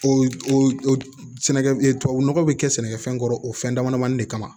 O o o o sɛnɛkɛ tubabu nɔgɔ bi kɛ sɛnɛkɛfɛn kɔrɔ o fɛn damadɔni de kama